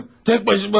Hı, tək başıma.